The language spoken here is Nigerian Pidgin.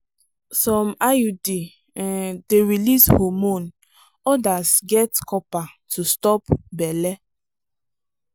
some iud um dey release hormone others get copper to stop belle.